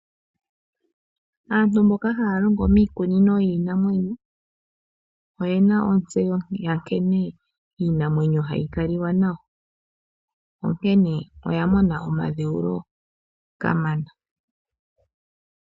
Aantu mboka haya longo miikunino yiinamwenyo oyena ontseyo yankene iinamwenyo hayi kali wa nayo. Oya mona omadhewulo kamana.